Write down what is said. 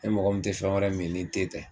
Ne mɔgɔ min te fɛn wɛrɛ min ni te tɛ